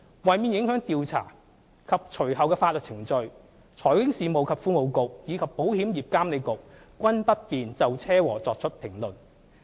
為免影響調查及隨後的法律程序，財經事務及庫務局和保險業監管局均不便就車禍作出評論。